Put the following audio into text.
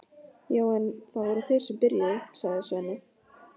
Já en, það voru þeir sem byrjuðu, sagði Svenni.